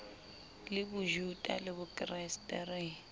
le bojuta le bokreste re